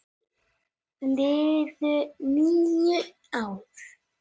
Liðu nú ár.